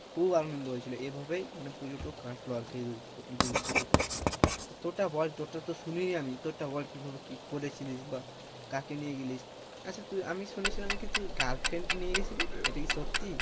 খুব আনন্দ হয়েছিলো এভাবেই মানে পুজো টা কাটলো আর কি দূ~দুর্গ পুজো টা, তোর টা বল তোর টা তো শুনিনি আমি তোর টা বল কিভাবে কি করেছিলিস বা কাকে নিয়ে গেলি আচ্ছা তুই আমি শুনেছিলাম নাকি তুই girlfriend নিয়ে গেছিলি? এটা কি সত্যি?